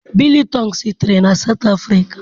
Biltong sitere na South Africa.